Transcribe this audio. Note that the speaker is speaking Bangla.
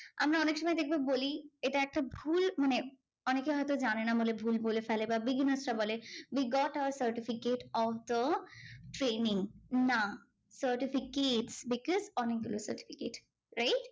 আমরা অনেকসময় দেখবে বলি এটা একটা ভুল মানে অনেকে হয়তো জানেনা বলে ভুল বলে ফেলে বা beginners রা বলে, we got our certificate of the training না certificates because on certificate wright?